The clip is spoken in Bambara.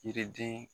Yiriden